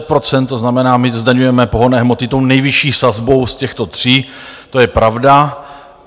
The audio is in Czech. To znamená, my zdaňujeme pohonné hmoty tou nejvyšší sazbou z těchto tří, to je pravda.